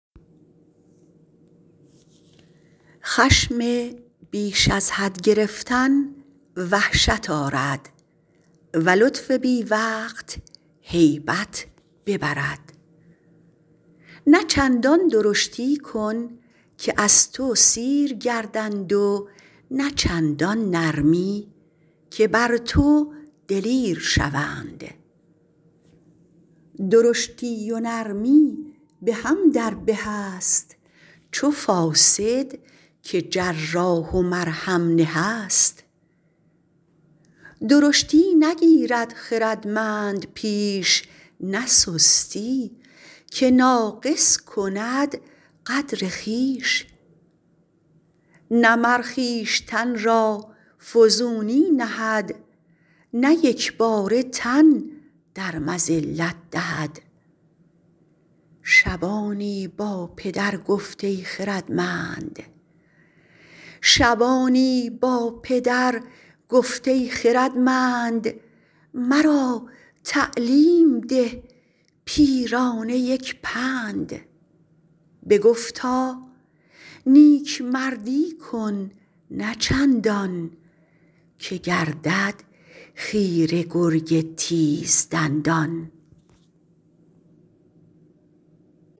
خشم بیش از حد گرفتن وحشت آرد و لطف بی وقت هیبت ببرد نه چندان درشتی کن که از تو سیر گردند و نه چندان نرمی که بر تو دلیر شوند درشتی و نرمی به هم در به است چو فاصد که جراح و مرهم نه است درشتی نگیرد خردمند پیش نه سستی که ناقص کند قدر خویش نه مر خویشتن را فزونی نهد نه یکباره تن در مذلت دهد شبانی با پدر گفت ای خردمند مرا تعلیم ده پیرانه یک پند بگفتا نیکمردی کن نه چندان که گردد خیره گرگ تیز دندان